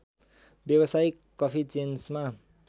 व्यावसायिक कफी चेन्समा